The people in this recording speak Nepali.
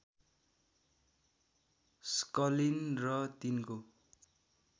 स्कलिन र तिनको